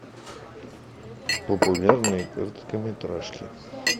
популярные короткометражки